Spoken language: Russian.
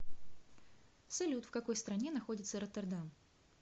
салют в какой стране находится роттердам